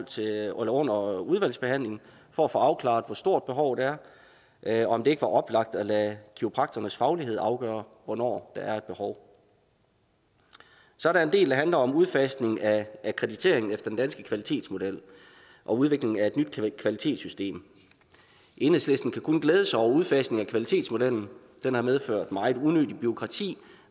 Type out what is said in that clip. til under udvalgsbehandlingen for at få afklaret hvor stort behovet er er og om det ikke var oplagt at lade kiropraktorernes faglighed afgøre hvornår der er behov så er der en del der handler om udfasning af akkreditering efter den danske kvalitetsmodel og udviklingen af et nyt kvalitetssystem enhedslisten kan kun glæde sig over udfasningen af kvalitetsmodellen den har medført meget unødigt bureaukrati